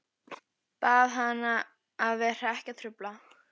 Bað hana að vera ekki að trufla.